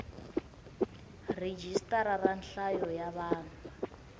rhijisitara ra nhlayo ya vanhu